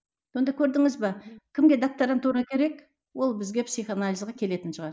сонда көрдіңіз бе кімге докторантура керек ол бізге психоанализге келетін шығар